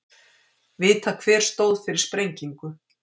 Vita hver stóð fyrir sprengingu